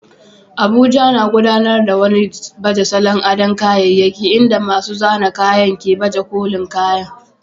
Abuja, na gudanar da wani baje salon ado kayyayaki inda masu zanen kaya ke baje kolin kayan